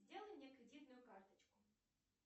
сделай мне кредитную карточку